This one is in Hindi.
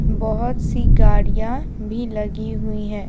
बहुत सी गाड़ियां भी लगी हुई है।